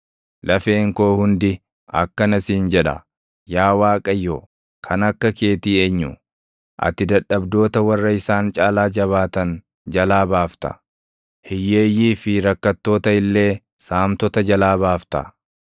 Lafeen koo hundi akkana siin jedha: “Yaa Waaqayyo, kan akka keetii eenyu? Ati dadhabdoota warra isaan caalaa jabaatan jalaa baafta; hiyyeeyyii fi rakkattoota illee saamtota jalaa baafta.”